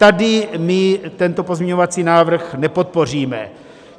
Tady my tento pozměňovací návrh nepodpoříme.